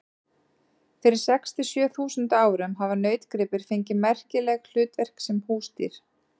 Fyrir sex til sjö þúsund árum hafa nautgripir fengið merkileg hlutverk sem húsdýr.